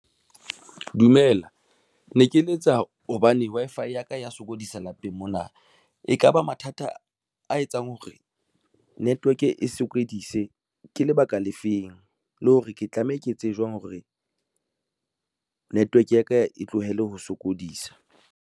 Dumela ne ke letsa hobane Wi-Fi ya ka ya sokodisa lapeng mona. Ekaba mathata a etsang hore network e sokodise ke lebaka le feng le hore ke tlameha ke etse jwang hore network ya ka e tlohele ho sokodisa?